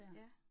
Ja